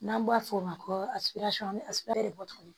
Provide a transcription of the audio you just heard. N'an b'a fɔ o ma ko